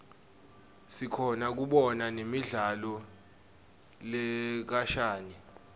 sikhona kubona nemidlalo lekhashane